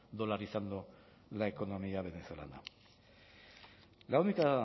dolarizando la economía venezolana la única